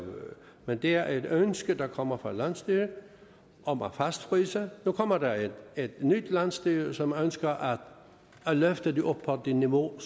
men det er et ønske der kommer fra landsstyret om at fastfryse nu kommer der et nyt landsstyre som ønsker at løfte det op på det niveau